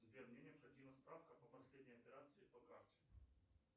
сбер мне необходима справка по последней операции по карте